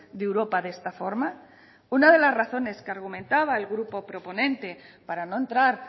de europa de esta forma una de las razones que argumentaba el grupo proponente para no entrar